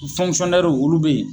olu bE yen